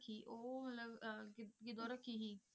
ਉਹ ਮਤਲਬ ਅਹ ਕੀ ਕਿਦੋਂ ਰੱਖੀ ਸੀ